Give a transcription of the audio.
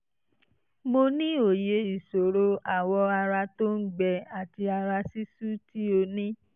mo ní òye ìṣòro awọ ara tó ń gbẹ àti ara ṣíṣú tí o ní